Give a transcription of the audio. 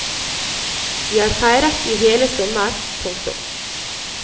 Vi har feiret i hele sommer. punktum